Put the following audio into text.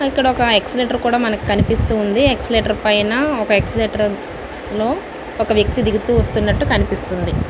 ఇక్కడ ఒక ఎక్ష్క్లెతెర్ కూడా మనకి కనిపెస్తునది ఎక్ష్క్లెతెర్ పైన ఒక ఎక్ష్క్లెతెర్ లో ఒక వ్యక్తి ఎక్కుతూ దిగుతూ కనిపిస్తుండి.